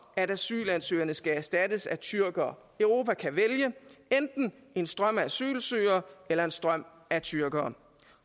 at asylansøgerne skal erstattes af tyrkere europa kan vælge enten en strøm af asylsøgere eller en strøm af tyrkere